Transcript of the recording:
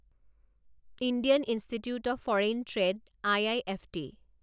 Indian Institute of Foreign Trade IIFT